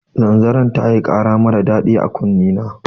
Zanzaror tayi kara marar daɗi a kunne na